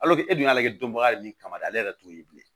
e dun y'ale don baga yɛrɛ ni kama de ale yɛrɛ t'o ye bilen